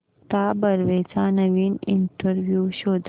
मुक्ता बर्वेचा नवीन इंटरव्ह्यु शोध